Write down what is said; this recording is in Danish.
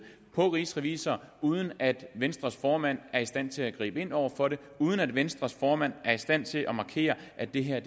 på rigsrevisor uden at venstres formand er i stand til at gribe ind over for det uden at venstres formand er i stand til at markere at det her